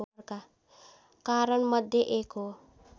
कारणमध्ये एक हो